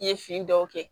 I ye fini dɔw kɛ